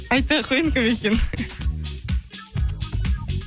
айтпай ақ қояйын кім екенін